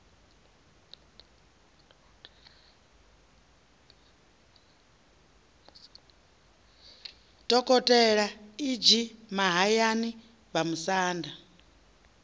dokotela e g mahayani vhamusanda